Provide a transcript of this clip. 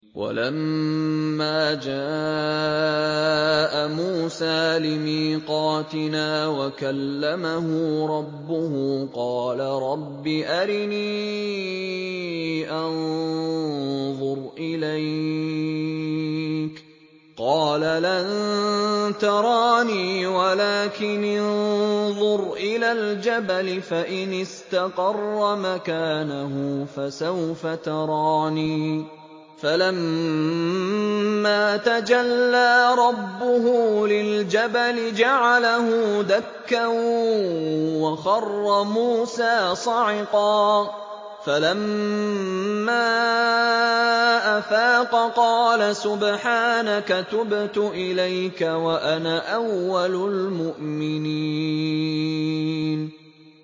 وَلَمَّا جَاءَ مُوسَىٰ لِمِيقَاتِنَا وَكَلَّمَهُ رَبُّهُ قَالَ رَبِّ أَرِنِي أَنظُرْ إِلَيْكَ ۚ قَالَ لَن تَرَانِي وَلَٰكِنِ انظُرْ إِلَى الْجَبَلِ فَإِنِ اسْتَقَرَّ مَكَانَهُ فَسَوْفَ تَرَانِي ۚ فَلَمَّا تَجَلَّىٰ رَبُّهُ لِلْجَبَلِ جَعَلَهُ دَكًّا وَخَرَّ مُوسَىٰ صَعِقًا ۚ فَلَمَّا أَفَاقَ قَالَ سُبْحَانَكَ تُبْتُ إِلَيْكَ وَأَنَا أَوَّلُ الْمُؤْمِنِينَ